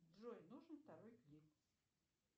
джой нужен второй клип